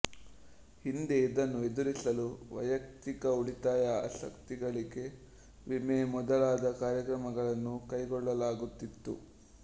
ಹಿಂದೆ ಇದನ್ನು ಎದುರಿಸಲು ವೈಯಕ್ತಿಕ ಉಳಿತಾಯ ಆಸ್ತಿಗಳಿಕೆ ವಿಮೆ ಮೊದಲಾದ ಕಾರ್ಯಕ್ರಮಗಳನ್ನು ಕೈಗೊಳ್ಳಲಾಗುತ್ತಿತ್ತು